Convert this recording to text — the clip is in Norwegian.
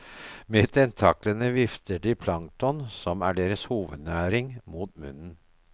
Med tentaklene vifter de plankton, som er deres hovednæring, mot munnen.